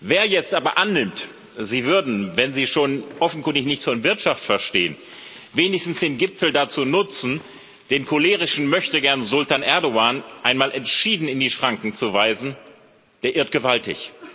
Wer jetzt aber annimmt, Sie würden, wenn Sie schon offenkundig nichts von Wirtschaft verstehen, wenigstens den Gipfel dazu nutzen, den cholerischen Möchtegern Sultan Erdoğan einmal entschieden in die Schranken zu weisen, der irrt gewaltig.